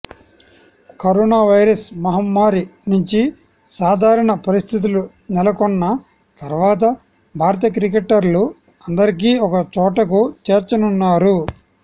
corona virus మహమ్మారి నుంచి సాధారణ పరిస్థితులు నెలకొన్న తర్వాత భారత క్రికెటర్లు అందరికీ ఒక చోటకు చేర్చనున్నారు